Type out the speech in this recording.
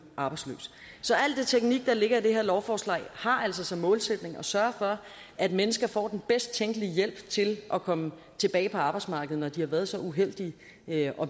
arbejdsløs så al den teknik der ligger i det her lovforslag har altså som målsætning at sørge for at mennesker får den bedst tænkelige hjælp til at komme tilbage på arbejdsmarkedet når de har været så uheldige at